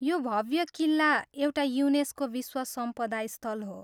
यो भव्य किल्ला एउटा युनेस्को विश्व सम्पदा स्थल हो।